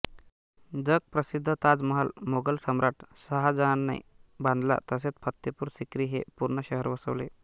जगप्रसिद्ध ताजमहाल मोघल सम्राट शहाजहॉंने बांधला तसेच फत्तेपूर सिक्री हे पूर्ण शहर वसवले